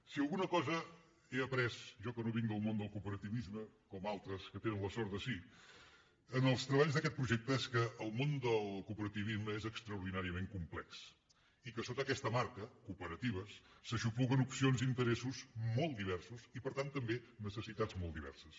si alguna cosa he après jo que no vinc del món del cooperativisme com altres que tenen la sort de sí en els treballs d’aquest projecte és que el món del cooperativisme és extraordinàriament complex i que sota aquesta marca cooperatives s’aixopluguen opcions d’interessos mol diversos i per tant també necessitats molt diverses